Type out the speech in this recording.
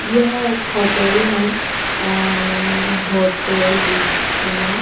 यह एक होटेल है अ होटेल ऋषना।